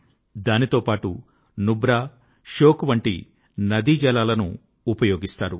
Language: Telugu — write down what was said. దాంతో పాటు నుబ్రా ష్యోక్ వంటి నదీజలాలను ఉపయోగిస్తారు